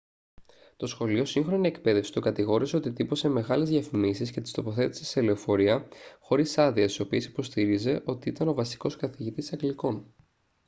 το σχολείο σύγχρονη εκπαίδευση τον κατηγόρησε ότι τύπωσε μεγάλες διαφημίσεις και τις τοποθέτησε σε λεωφορεία χωρίς άδεια στις οποίες υποστήριζε ότι ήταν ο βασικός καθηγητής αγγλικών